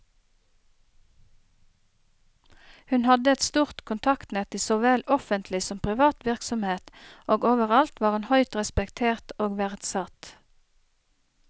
Hun hadde et stort kontaktnett i såvel offentlig som privat virksomhet, og overalt var hun høyt respektert og verdsatt.